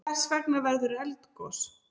Hvers vegna verður eldgos?